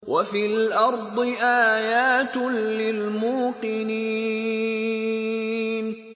وَفِي الْأَرْضِ آيَاتٌ لِّلْمُوقِنِينَ